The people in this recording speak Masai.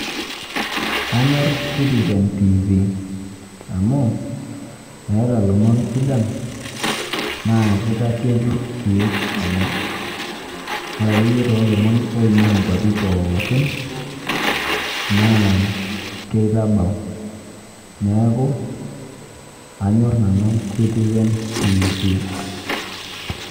Anyor Citizen TV. Amu, eeta ilomon sidan, naa kitasieku si ilomon. Ore akeyie tolomon oing'ua nkwapi pookin, naa kitabau. Neeku, anyor nanu Citizen TV.